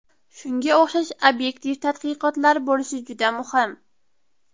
Shunga o‘xshash obyektiv tadqiqotlar bo‘lishi juda muhim.